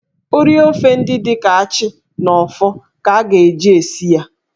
Ụrị ofe ndị dị ka achị na ọfọ ka a ga-eji esi ya.